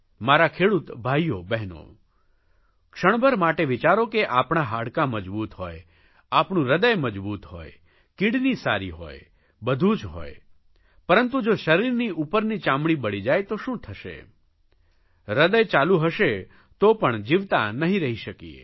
મારા ખેડૂત ભાઇઓ બહેનો ક્ષણભર માટે વિચારો કે આપણાં હાડકાં મજબૂત હોય આપણું હૃદય મજબૂત હોય કિડની સારી હોય બધું જ હોય પરંતુ જો શરીરની ઉપરની ચામડી બળી જાય તો શું થશે હૃદય ચાલુ હશે તો પણ જીવતા નહીં રહી શકીએ